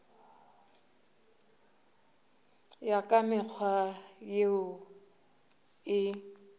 ya ka mekgwa yeo e